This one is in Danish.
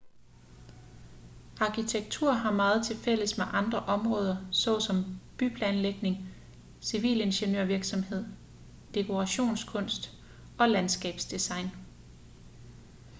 arkitektur har meget tilfælles med andre områder såsom byplanlægning civilingeniørvirksomhed dekorationskunst og landskabsdesign